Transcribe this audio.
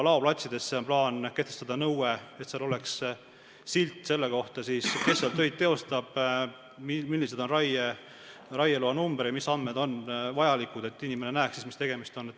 Veel on plaanis kehtestada nõue, et laoplatsidel oleks silt selle kohta, kes seal töid teostab, mis on raieloa number jms vajalikud andmed, et inimene näeks, millega on tegemist.